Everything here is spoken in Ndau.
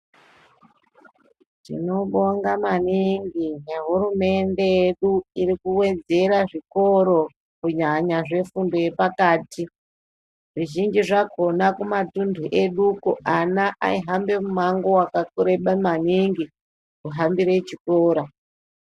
Tinobonga maningi ngehurumende yedu iri kuwedzera zvikoro kunyanya zvefundo yepakati zvizhinji zvakhona kumatunthu eduko ana aihambe mumango wakareba maningi kuhambire chikora.